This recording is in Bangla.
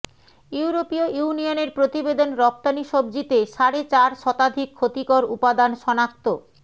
ইউরোপীয় ইউনিয়নের প্রতিবেদন রফতানি সবজিতে সাড়ে চার শতাধিক ক্ষতিকর উপাদান শনাক্ত